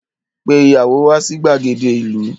Pe ìyàwó wà sí gbàgede ìlú.